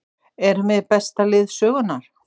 Erum við besta lið sögunnar?